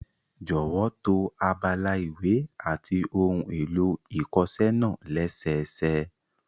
Jọ̀wọ́ to abala ìwé àti ohun èlò ìkọṣẹ́ náà lẹ́sẹẹsẹ